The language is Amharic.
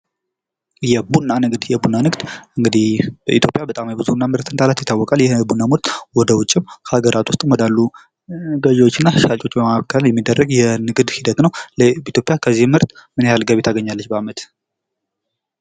የቡና ንግድ ፦የቡና ንግድ እንግድህ በኢትዮጵያ በጣም የቡና ምርት እንዳላት ይታወቃል። ይህ የቡና ምርት ወደ ውጭም ከሀገራት ዉስጥም ካሉ ገዥዎችና ሻጮች መካከል የሚደረግ የንግድ ሂደት ነው። ኢትዮጵያ ከዚህ ምርት ምን ያህል ጊቢ ታገኛለች በአመት?